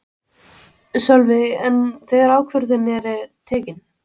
Sölvi: En þegar ákvörðunin er tekin?